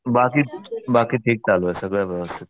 बाकी बाकी ठीक चालू आहे सगळं व्यवस्थित.